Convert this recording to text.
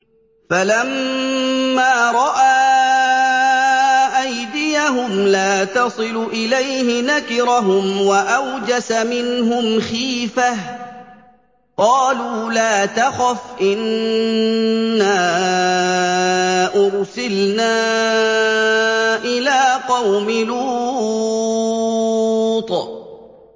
فَلَمَّا رَأَىٰ أَيْدِيَهُمْ لَا تَصِلُ إِلَيْهِ نَكِرَهُمْ وَأَوْجَسَ مِنْهُمْ خِيفَةً ۚ قَالُوا لَا تَخَفْ إِنَّا أُرْسِلْنَا إِلَىٰ قَوْمِ لُوطٍ